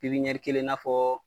pipɲɛri kelen n'a fɔ